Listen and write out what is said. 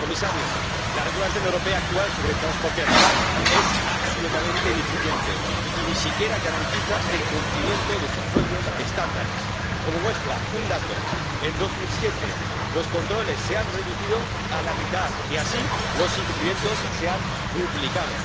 Señor comisario, la regulación europea actual sobre transporte animal es absolutamente ineficiente y ni siquiera garantiza el cumplimiento de sus propios estándares. Como muestra, un dato en 2007 los controles se han reducido a la mitad y, así, los incumplimientos se han duplicado.